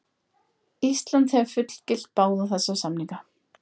Ísland hefur fullgilt báða þessa samninga.